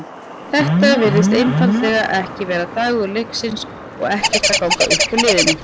Þetta virtist einfaldlega ekki vera dagur Leiknis og ekkert að ganga upp hjá liðinu.